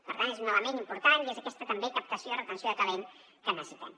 per tant és un element important i és aquesta captació i retenció de talent que necessitem